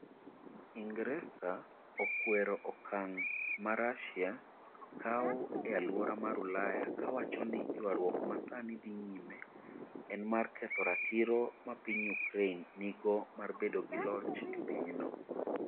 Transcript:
Ingresa okwero okang ' ma Russia kawo e alwora mar Ulaya kowacho ni ' ywaruok ma sani dhi nyime en mar ketho ratiro ma piny Ukraine nigo mar bedo gi loch e pinyno. '